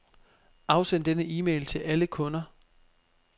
Afsend denne e-mail til alle kunder.